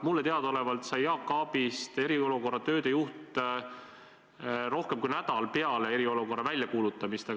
Mulle teadaolevalt sai Jaak Aabist eriolukorra tööde juht rohkem kui nädal peale eriolukorra väljakuulutamist.